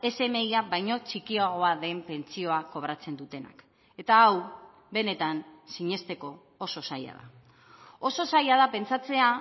smia baino txikiagoa den pentsioa kobratzen dutenak eta hau benetan sinesteko oso zaila da oso zaila da pentsatzea